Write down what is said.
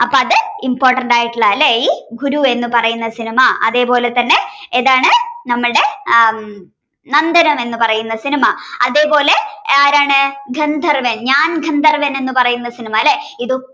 important ആയിട്ടുള്ള ഈ ഗുരു എന്ന് പറയുന്ന സിനിമ. അതേപോലെതന്നെ ഏതാണ് നമ്മളുടെ ആ നന്ദനം എന്ന് പറയുന്ന സിനിമ. അതേപോലെതന്നെ ആരാണ് ഗന്ധർവ്വൻ ഞാൻ ഗന്ധർവ്വൻ എന്ന് പറയുന്ന സിനിമ അല്ലേ ഇതൊക്കെ